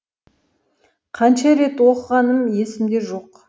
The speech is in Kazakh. қанша рет оқығаным есімде жоқ